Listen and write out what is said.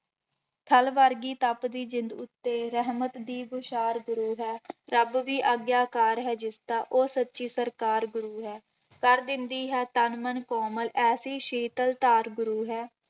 ਥਲ ਵਰਗੀ ਤਪਦੀ ਜ਼ਿੰਦ ਉੱਤੇ ਰਹਿਮਤ ਦੀ ਬੋਛਾਰ ਗੁਰੂ ਹੈ ਰੱਬ ਵੀ ਆਗਿਆਕਾਰ ਹੈ ਜਿਸਦਾ ਉਹ ਸੱਚੀ ਸਰਕਾਰ ਗੁਰੂ ਹੈ, ਕਰ ਦਿੰਦੀ ਹੈ ਤਨ ਮਨ ਕੋਮਲ ਐਸੀ ਸੀਤਲ ਧਾਰ ਗੁਰੂ ਹੈ।